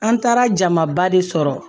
An taara jamaba de sɔrɔ